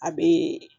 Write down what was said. A bee